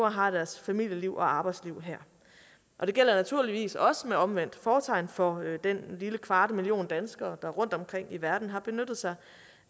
og har deres familieliv og arbejdsliv her og det gælder naturligvis også med omvendt fortegn for den lille kvarte million danskere der rundt omkring i verden har benyttet sig